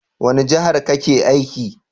Wani jahar ka ke aiki?